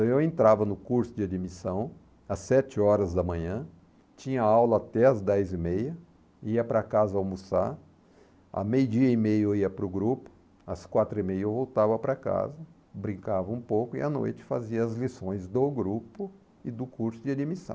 Então eu entrava no curso de admissão às sete horas da manhã, tinha aula até às dez e meia, ia para casa almoçar, a meio dia e meio eu ia para o grupo, às quatro e meia eu voltava para casa, brincava um pouco e à noite fazia as lições do grupo e do curso de admissão.